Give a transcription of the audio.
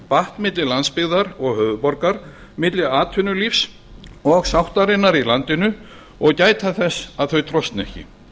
batt milli landsbyggðar og höfuðborgar milli atvinnulífs og sáttarinnar í landinu og gæta þess að þau trosni ekki